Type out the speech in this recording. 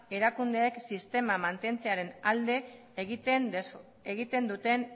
erakundeek sistema mantentzearen alde egiten duten